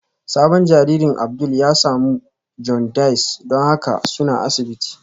Sabon jaririn Abdul ya samu jaundice don haka suna asibiti